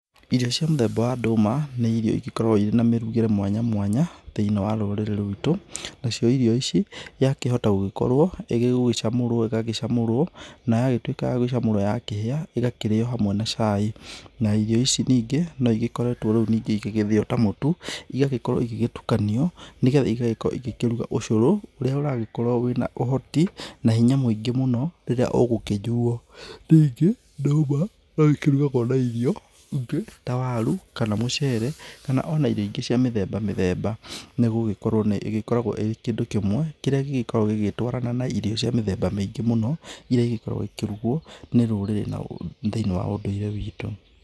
Irio cia mũthemba wa ndũma, nĩ irio igĩkoragwo irĩ na mũrugĩre mwanya mwanya thĩiniĩ wa rũrĩrĩ rwitũ, nacio irio ici ya kĩhota gũgĩkorwo rĩngĩ gũgĩcamũrwo, igagĩcamũrwo na yagĩtuĩka ya gũgĩcamũrwa ya kĩhĩa, ĩgakĩrĩyo hamwe na cai na irio ici ningĩ no ĩgĩkoretwo igĩthĩyo ta mũtu, ĩgagĩkorwo ĩgĩtukanio, nĩgetha ĩgagĩkorwo ĩgĩkĩruga ũcũrũ ũrĩa ũragĩkorwo wĩ na ũhoti na hĩnya mũingĩ mũno rĩrĩa ũgĩkĩyuo. Rĩngĩ ndũma no ĩgĩkĩrugwo na irio ta waru kana mũcere kana irio ĩngĩ cia mĩthemba mĩthema nĩgũgĩkorwo nĩgĩkoragwo ĩ kĩndũ kĩmwe kĩrĩa gĩgĩkoragwo gĩgĩtwarana na irio cia mĩthemba mĩingĩ mũno, irĩa iikoragwo ĩkĩrugwo nĩ rũrĩrĩ thĩiniĩ wa ũndũire witũ.